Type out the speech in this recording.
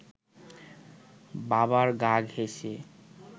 বাবার গা ঘেঁসে